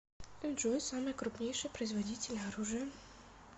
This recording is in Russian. джой самые крупнейшие производители оружия